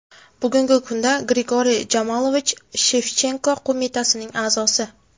Bugungi kunda Grigoriy Jamalovich Shevchenko qo‘mitasining a’zosi.